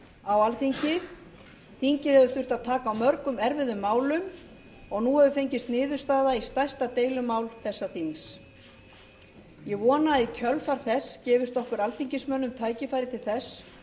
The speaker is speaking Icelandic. á alþingi þingið hefur þurft að taka á mörgum erfiðum málum og nú hefur fengist niðurstaða í stærsta deilumál þessa þings ég vona að í kjölfar þess gefist okkur alþingismönnum tækifæri til þess